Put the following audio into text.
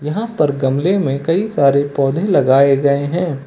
यहां पर गमले में कई सारे पौधे लगाए गए हैं।